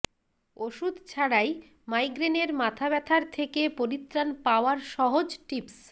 ওষুধ ছাড়াই মাইগ্রেনের মাথাব্যাথার থেকে পরিত্রাণ পাওয়ার সহজ টিপ্স